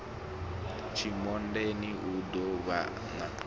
tshimondeni u ḓo vhan a